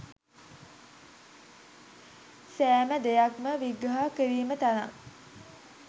සෑම දෙයක්ම විග්‍රහ කිරීමට තරම්